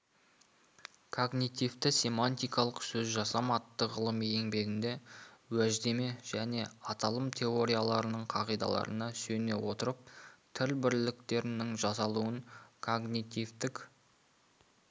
когнитивтісемантикалық сөзжасам атты ғылыми еңбегінде уәждеме және аталым теорияларының қағидаларына сүйене отырып тіл бірліктерінің жасалуын когнитивтік